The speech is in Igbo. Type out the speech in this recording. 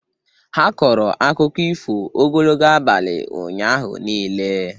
Ha kọrọ akụkọ ifo ogologo abalị ụnyaahụ niile.